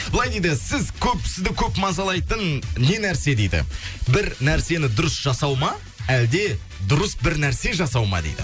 былай дейді сіз көп сізді көп мазалайтын не нәрсе дейді бір нәрсені дұрыс жасау ма әлде дұрыс бір нәрсе жасау ма дейді